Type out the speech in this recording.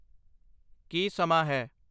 ਕੀ ਸਮਾਂ ਹੈ?